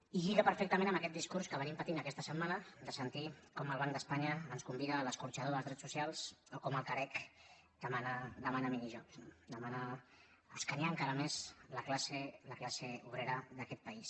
i lliga perfectament amb aquest discurs que venim patint aquesta setmana de sentir com el banc d’espanya ens convida a l’escorxador dels drets socials o com el carec demana minijobs no demana escanyar encara més la classe obrera d’aquest país